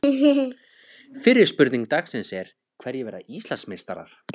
Fyrri spurning dagsins er: Hverjir verða Íslandsmeistarar?